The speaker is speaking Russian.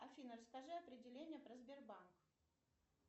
афина расскажи определение про сбербанк